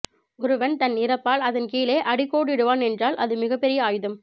ஒருவன் தன் இறப்பால் அதன் கீழே அடிக்கோடிடுவான் என்றால் அது மிகப்பெரிய ஆயுதம்